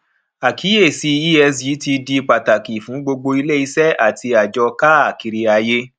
àkíyèsí esg ti di pàtàkì fún gbogbo iléiṣẹ àti àjọ káàkiri ayé